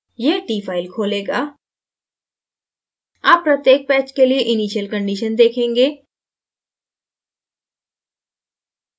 यहt file खोलेगा आप प्रत्येक patch के लिए initial conditions देखेंगे